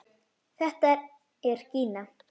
Þetta er Gína!